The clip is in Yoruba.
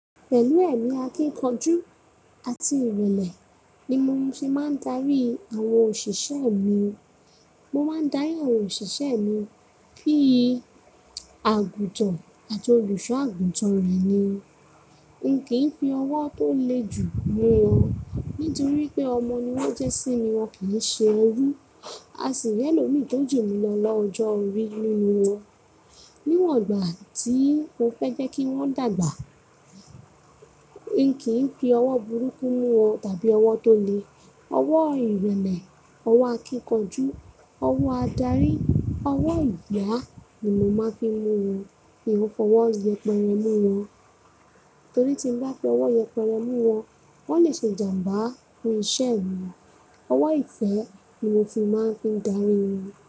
Pẹ̀lú ẹ̀mí akíkanjú àti ìrẹ̀lẹ̀ ni mo fi máa ń darí àwọn òṣìṣẹ́ mi. Mo máa ń darí àwọn òṣìṣẹ́ mi bíi àgùntàn àti olùṣọ́ àgùntàn rẹ̀ ni. N kì í fi ọwọ́ tó le jù mú wọn, nítorí pé ọmọ ni wọ́n jẹ́ sí mi, wọn kì í ṣe ẹrú. A sì ní tó jù mìí lọ lọ́jọ́ orí nínú wọn. Níwọ̀n ìgbà tí mo fẹ́ jẹ́ kí wọ́n dàgbà, n kì í fi ọwọ́ burúkú mú wọn tàbí ọwọ́ tó le. Ọwọ́ ìrẹ̀lẹ̀, ọwọ́ akíkanjú, ọwọ́ adarí, ọwọ́ ìyá ni mo máa ń fi mú wọn. Mi ò fọwọ́ yẹpẹrẹ mú wọn, torí tí ń bá fi ọwọ́ yẹpẹrẹ mú wọn, wọ́n lè ṣe jàmbá, fun iṣẹ́ mi. Ọwọ́ ìfẹ́ ni mo fi máa ń fi darí wọn.